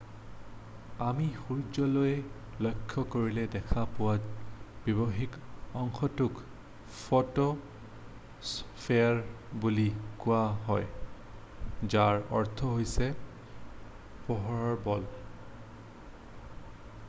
আমি সূৰ্য্যলৈ লক্ষ্য কৰিলে দেখা পোৱা বাহ্যিক অংশটোক ফ’ট’স্পে্যাৰ বুলি কোৱা হয় যাৰ অৰ্থ হৈছে পোহৰৰ বল”।